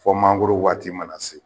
Fɔ manangoro waati mana se.